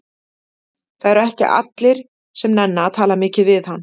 Það eru ekki allir sem nenna að tala mikið við hann.